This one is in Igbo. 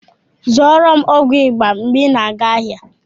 Zụọrọ m ọgwụ ịba mgbe ị na-aga ahịa!